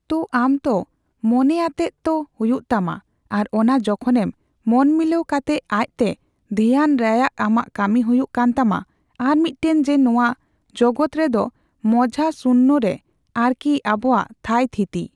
ᱛᱳ ᱟᱢ ᱛᱳ ᱢᱚᱱᱮ ᱟᱛᱮᱜ ᱛᱳ ᱦᱩᱭᱩᱜ ᱛᱟᱢᱟ ᱟᱨ ᱚᱱᱟ ᱡᱚᱠᱷᱚᱱᱮᱢ ᱢᱚᱱᱢᱤᱞᱟᱹᱣ ᱠᱟᱛᱮᱜ ᱟᱪᱛᱮ ᱫᱷᱭᱮᱭᱟᱱ ᱨᱟᱭᱟᱜ ᱟᱢᱟᱜ ᱠᱟᱹᱢᱤ ᱦᱩᱭᱩᱜ ᱠᱟᱱ ᱛᱟᱢᱟ ᱟᱨ ᱢᱤᱫᱴᱮᱱ ᱡᱮ ᱱᱚᱣᱟ ᱡᱚᱜᱚᱛ ᱨᱮᱫᱚ ᱢᱚᱡᱦᱟ ᱥᱩᱱᱭᱚ ᱨᱮ ᱟᱨᱠᱤ ᱟᱵᱚᱭᱟᱜ ᱛᱷᱟᱹᱭ ᱛᱷᱤᱛᱤ ᱾